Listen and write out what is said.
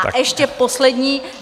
A ještě poslední...